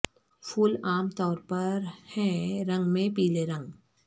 پھول عام طور پر ہیں رنگ میں پیلے رنگ